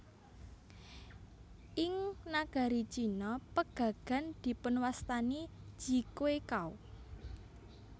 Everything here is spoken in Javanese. Ing nagari Cina pegagan dipunwastani ji xue cao